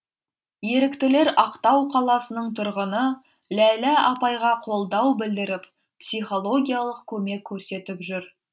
еріктілер ақтау қаласының тұрғыны ләйлә апайға қолдау білдіріп психологиялық көмек көрсетіп жүр